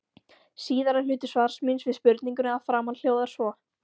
Síðari hluti svars míns við spurningunni að framan hljóðar svo